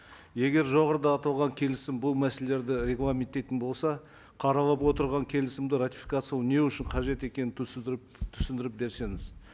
егер жоғарыда аталған келісім бұл мәселелерді регламенттейтін болса қаралып отырған келісімді ратификациялау не үшін қажет екенін түсіндіріп түсіндіріп берсеңіз